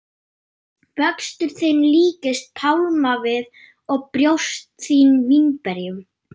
Vöxtur þinn líkist pálmavið og brjóst þín vínberjum.